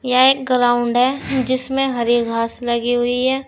यह एक ग्राउंड है जिसमें हरी घास लगी हुई है।